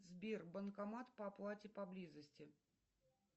сбер банкомат по оплате поблизости